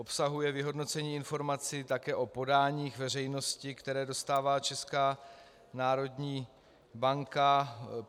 Obsahuje vyhodnocení informací také o podáních veřejnosti, které dostává Česká národní banka.